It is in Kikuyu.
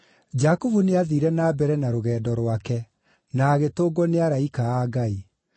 Jakubu nĩathiire na mbere na rũgendo rwake, na agĩtũngwo nĩ araika a Ngai.